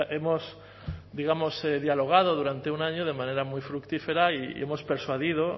hemos digamos dialogado durante un año de manera muy fructífera y hemos persuadido